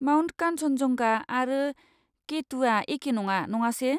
Mount Kanchenjunga आरो के टुआ एके नङा नङासे?